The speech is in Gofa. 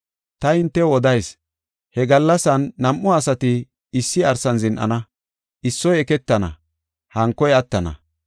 Ta hintew odayis; he gallasan nam7u asati issi arsan zin7ana; issoy eketana, hankoy attana.